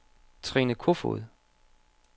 Trine Kofod